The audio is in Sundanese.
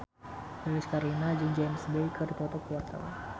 Lilis Karlina jeung James Bay keur dipoto ku wartawan